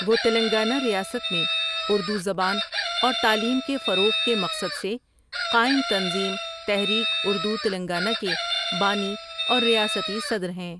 وہ تلنگانہ ریاست میں اردو زبان اور تعلیم کے فروغ کے مقصد سے قائم تنظیم تحریک اردو تلنگانہ کے بانی اور ریاستی صدر ہیں ۔